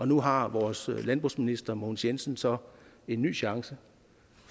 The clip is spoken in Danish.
nu har vores landbrugsminister mogens jensen så en ny chance